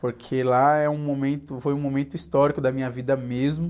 Porque lá é um momento, foi um momento histórico da minha vida mesmo.